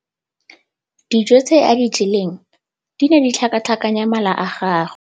Dijô tse a di jeleng di ne di tlhakatlhakanya mala a gagwe.